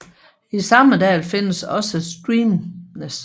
I samme dal findes også Streymnes